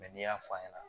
n'i y'a fɔ a ɲɛna